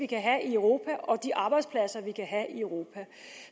kan have i europa og de arbejdspladser vi kan have i europa